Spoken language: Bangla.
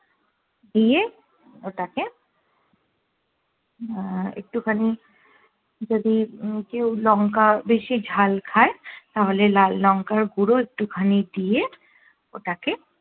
দিয়ে ওটাকে আহ একটু খানি যদি কেউ লঙ্কা বেশি ঝাল খায় তাহলে লাল লঙ্কার গুঁড়ো একটু খানি দিয়ে ওটাকে